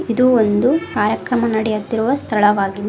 ಇದು ಒಂದು ಕಾರ್ಯಕ್ರಮ ನಡೆಯುತ್ತಿರುವ ಸ್ಥಳವಾಗಿದೆ.